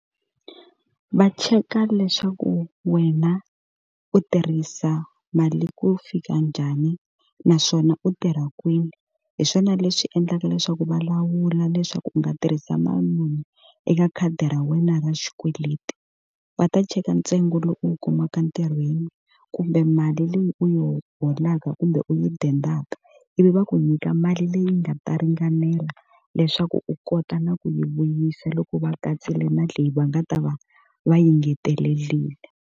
Va cheka leswaku wena u tirhisa mali ku fika njhani naswona u tirha kwini. Hi swona leswi endlaka leswaku va lawula leswaku u nga tirhisa mali muni eka khadi ra wena ra xikweleti. Va ta cheka ntsengo lowu u wu kumaka ntirhweni kumbe mali leyi u yi holaka kumbe u yi dendaka, ivi va ku nyika mali leyi nga ta ringanela leswaku u kota na ku yi vuyisa loko va katsiwile na leyi va nga ta va va yi engetelerile.